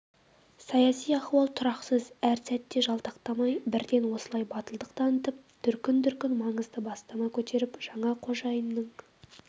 саяси ахуал тұрақсыз әр сәтте жалтақтамай бірден осылай батылдық танытып дүркін-дүркін маңызды бастама көтеріп жаңа қожайынның